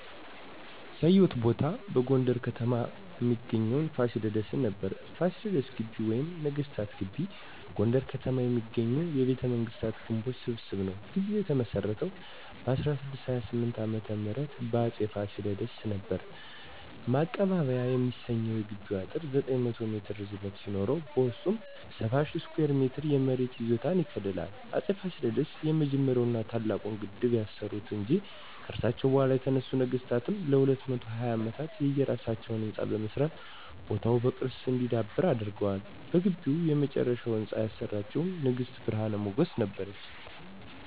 ያየሁት ቦታ በጎንደር ከተማ እሚገኘዉን ፋሲለደስን ነበር። ፋሲለደስ ግቢ ወይም ነገስታት ግቢ በጎንደር ከተማ የሚገኝ የቤተመንግስታት ግምቦች ስብስብ ነዉ። ግቢዉ የተመሰረተዉ በ1628 ዓ.ም በአፄ ፋሲለደስ ነበር። ማቀባበያ የሚሰኘዉ የግቢዉ አጥር 900 ሜትር ርዝመት ሲኖረዉ በዉስጡ 70,000 ስኩየር ሜትር የመሬት ይዞታ ይከልላል። አፄ ፋሲለደስ የመጀመሪያዉን ና ታላቁን ግድብ ያሰሩ እንጂ፣ ከርሳቸዉ በኋላ የተነሱት ነገስታትም ለ220 አመታት የየራሳቸዉን ህንፃ በመስራት ቦታዉ በቅርስ እንዲዳብር አድርገዋል። በግቢዉ የመጨረሻዉን ህንፃ ያሰራችዉ ንግስት ብርሀን ሞገስ ነበረች።